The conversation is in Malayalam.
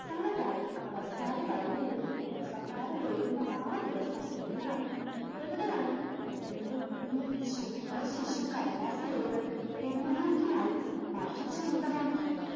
മുനത്താളിൽ അവസാന വരി എഴുതി ഉപസംഹാരം എഴുതുന്ന ആ ദിവസം എന്നാണ്? എവിടെയാണ്? നിൻറെ ഈ ശുബ്ര ശിശു കടലാസ് ഏടുകൾ എന്നെന്നേക്കുമായി മഷി ചീന്തമാക്കി